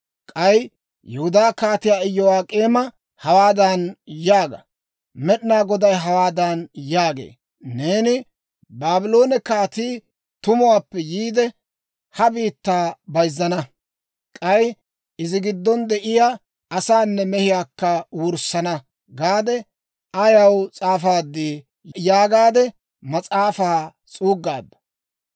K'ay Yihudaa Kaatiyaa Iyo'ak'eema hawaadan yaaga: ‹Med'inaa Goday hawaadan yaagee; «Neeni, Baabloone kaatii tumuwaappe yiide, ha biittaa bayzzana; k'ay izi giddon de'iyaa asaanne mehiyaakka wurssana» gaade ayaw s'aafaadii?› yaagaade mas'aafaa s'uuggaadda.